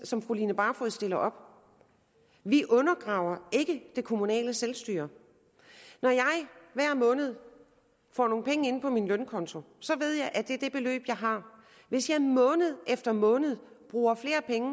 som fru line barfod stiller op vi undergraver ikke det kommunale selvstyre når jeg hver måned får nogle penge ind på min lønkonto ved jeg at det er det beløb jeg har hvis jeg måned efter måned bruger flere penge